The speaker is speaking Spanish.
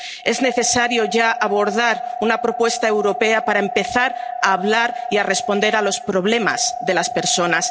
Es necesario ya abordar una propuesta europea para empezar a hablar y a responder a los problemas de las personas.